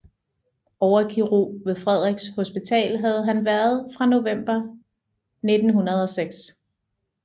Overkirurg ved Frederiks Hospital havde han været fra november 1906